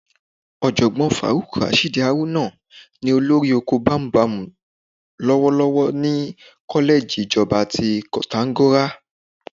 Ọ̀jọ̀gbọ́n Faruk Rashid Haruna ni olórí oko bámúbamù lọ́wọ́lọ́wọ́ ní kọ́lẹ́ẹ̀jì ìjọba ti Koǹtàgora